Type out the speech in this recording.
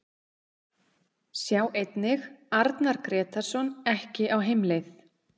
Sjá einnig: Arnar Grétarsson ekki á heimleið